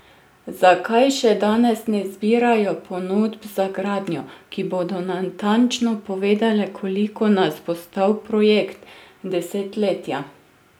Zakaj še danes ne zbirajo ponudb za gradnjo, ki bodo natančno povedale, koliko nas bo stal projekt desetletja?